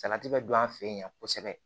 Salati bɛ don an fɛ yen kosɛbɛ